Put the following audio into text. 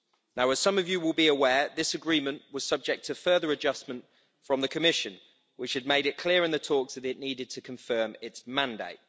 Now as some of you will be aware, this agreement was subject to further adjustment from the Commission, which had made it clear in the talks that it needed to confirm its mandate.